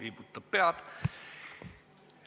Ei soovi, raputab pead.